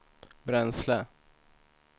bränsle